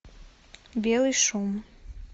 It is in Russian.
белый шум